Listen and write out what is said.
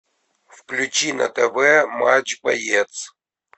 включи на тв матч боец